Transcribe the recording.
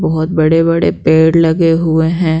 बहुत बड़े-बड़े पेड़ लगे हुए हैं।